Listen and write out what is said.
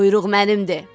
Quyruq mənimdir.